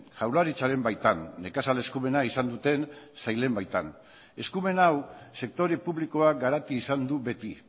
jaurlaritzaren baitan nekazal eskumena izan duten sailen baitan eskumen hau sektore publikoak garatu izan du beti